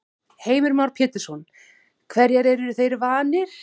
Heimir Már Pétursson: Hverju eru þeir vanir?